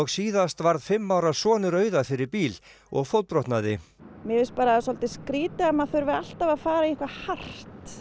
síðast varð fimm ára sonur Auðar fyrir bíl og fótbrotnaði mér finnst bara svolítið skrýtið að maður þurfi alltaf að fara í eitthvað hart